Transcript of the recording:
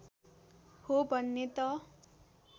हो भन्ने त